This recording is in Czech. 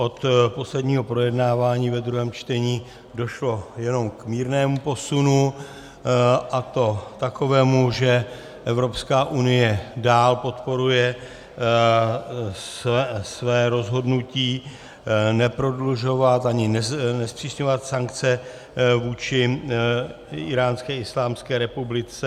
Od posledního projednávání ve druhém čtení došlo jenom k mírnému posunu, a to takovému, že Evropská unie dál podporuje své rozhodnutí neprodlužovat ani nezpřísňovat sankce vůči Íránské islámské republice.